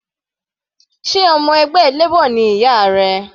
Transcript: Sé ọmọ ẹgbẹ́ Labor ni ìyá rẹ?